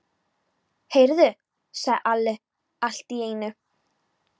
Heyrðu, sagði Alli allt í einu.